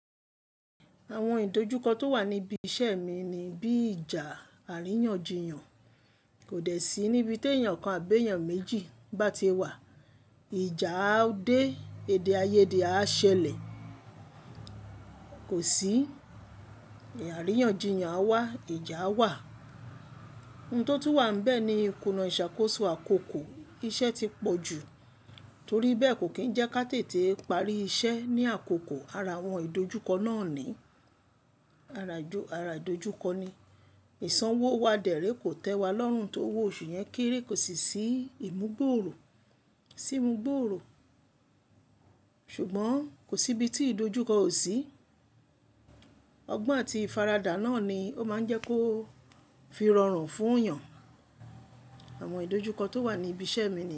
Àwọn ìdojúkọ tó wà níbi iṣẹ́ mi ni bí ìjà àríyànjiyàn kò dẹ̀ sí níbi tí èèyàn kan àbí èèyàn méjì bá ti wà. Ìjà ó dé, èdè-áyé dè á ṣẹlẹ̀, kò sí. Àríyànjiyàn á wà, ìjà á wà. Ohun tó ti wà níbẹ̀ ni ìkùna ìṣàkóso àkókò iṣẹ́ ti pọ̀ jù. Torí bẹ́ẹ̀ kò kín ń jẹ́ ká tètè parí iṣẹ́ ní àkókò ara àwọn ìdojúkọ náà ni-- ara ìdojúkọ ni. Ìsanwó wa dẹ̀ré kò tẹ́ wa lọ́run tó owó oṣù yẹn kéré kò sì sí ìmúgbòòrò, sí ìmúgbòòrò. Ṣùgbọ́n kò sí ibi tí ìdojúkọ ò sí. Ọgbọ́n àti ìfaradà náà ni ó máa ń jẹ́ kó fi rọrùn fún èèyàn. Àwọn ìdojúkọ tó wà níbi iṣẹ́ mi ni.